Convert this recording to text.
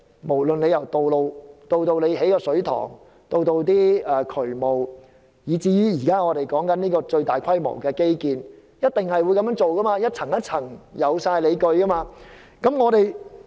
無論是興建道路、水塘、進行渠務工程，以至現時討論的最大規模基建，都一定是這樣做，按部就班，有理有據。